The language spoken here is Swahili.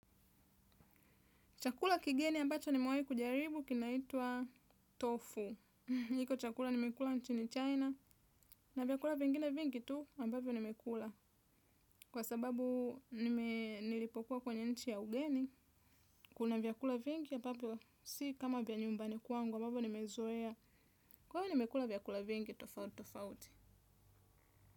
Chakula kigeni ambacho nimewai kujaribu kinaitwa tofu. Iko chakula nimekula nchini China na vyakula vingine vingi tu ambavyo nimekula. Kwa sababu nilipokuwa kwenye nchi ya ugeni, kuna vyakula vingi ambavyo si kama vya nyumbani kuangu ambavyo nimezoea. Kwa hivyo nimekula vyakula vingi tofauti tofauti.